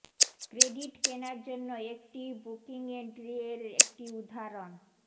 credit কেনার জন্য একটি বুকিংিং এন্ট্রি এর একটি উদাহরণ